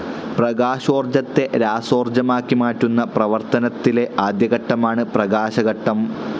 പ്രകാശോർജ്ജത്തെ രാസോർജ്ജമാക്കി മാറ്റുന്ന പ്രവർത്തനത്തിലെ ആദ്യ ഘട്ടമാണ് പ്രകാശഘട്ടം.